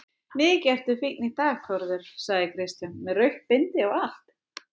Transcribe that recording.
Mikið ertu fínn í dag Þórður, sagði Kristján, með rautt bindi og allt.